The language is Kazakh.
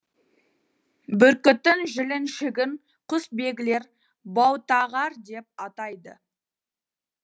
бүркіттің жіліншігін құсбегілер баутағар деп атайды